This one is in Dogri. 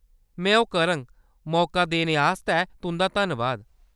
में ओह्‌‌ करङ, मौका देने आस्तै तुंʼदा धन्नबाद !